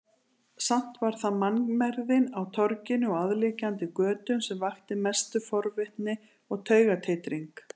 Samt var það mannmergðin á torginu og aðliggjandi götum sem vakti mesta forvitni og taugatitring.